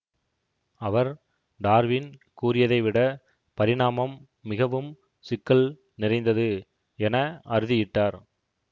அவர் Darwin கூறியதைவிட பரிணாமம் மிகவும் சிக்கல் நிறைந்தது என அறுதியிட்டார்